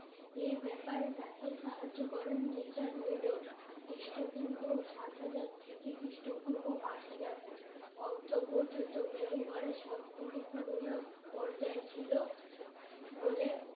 এই ব্যাপারে তাকে সাহায্য করেন রিচার্ট মেডো খ্রিস্টপূর্ব সাত হাজার থেকে খ্রিষ্টপূর্ব পাঁচ হাজার অর্দ পর্যন্ত মেহের গড়ের সব থেকে পুরোনো পর্যায় ছিল বলে